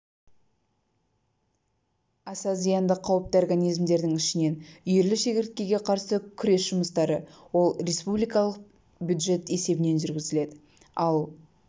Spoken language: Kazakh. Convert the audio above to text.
аса зиянды қауіпті организмдердің ішінен үйірлі шегірткеге қарсы күрес жұмыстары ол республикалық бюджет есебінен жүргізіледі ал